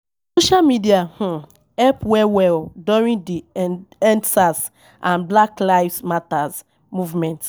Social media um help well well during di Endsars and Black lives Matter movement